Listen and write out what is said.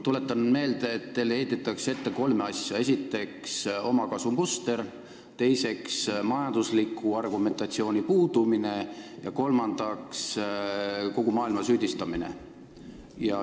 Tuletan meelde, et teile heidetakse ette kolme asja: esiteks, omakasumuster, teiseks, majandusliku argumentatsiooni puudumine, kolmandaks, kogu maailma süüdistamine.